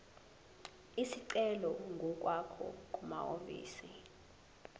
isicelo ngokwakho kumahhovisi